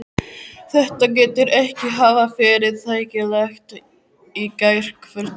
Þetta getur ekki hafa verið þægilegt í gærkvöldi?